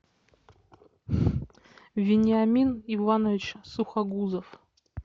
вениамин иванович сухогузов